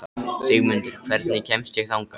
Sigmundur, hvernig kemst ég þangað?